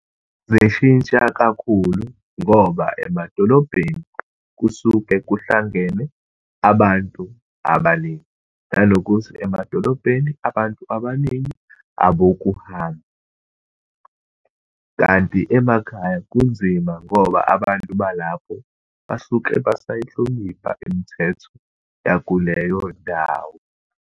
Zishintsha kakhulu ngoba emadolobheni kusuke kuhlangene abantu abaningi, nanokuthi emadolobheni abantu abaningi abokuhamba. Kanti emakhaya kunzima ngoba abantu balapho basuke basayihlonipha imithetho yakuleyo ndawo.